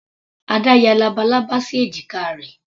Ada ya labalábá sí èjìká rẹ̀.